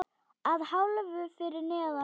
Að hálfu fyrir neðan gras.